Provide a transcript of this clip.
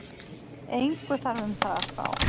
Engu þarf um það að spá,